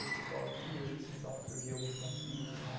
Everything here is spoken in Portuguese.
E o pessoal via isso, então surgia alguns conflitos, né?